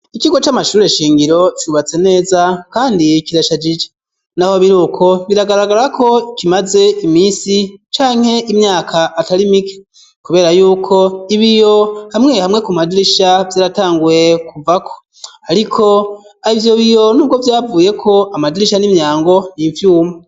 Ikigo c'amashuri shingiro cubatse neza, kandi kirashajije naho biruko ,biragaragara ko kimaze imisi canke imyaka atari mike ,kubera yuko ibiyo hamwe hamwe ku madirisha vyaratanguye kuvako, ariko ivyo biyo nubwo yavuyeko amadirisha n'imyango n'imvyuma.